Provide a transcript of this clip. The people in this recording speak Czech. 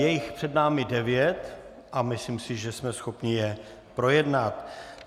Je jich před námi devět a myslím si, že jsme schopni je projednat.